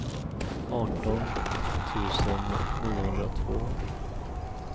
arton tusen niohundratvå